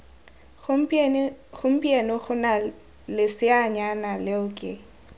gompieno gona leseanyana leo ke